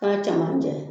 K'a cɛmancɛ